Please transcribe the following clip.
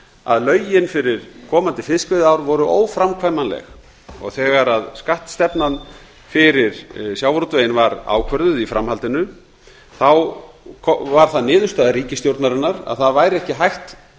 að lögin fyrir komandi fiskveiðiár voru óframkvæmanleg þegar skattstefnan fyrir sjávarútveginn var ákvörðuð í framhaldinu varð það niðurstaða ríkisstjórnarinnar að það væri ekki hægt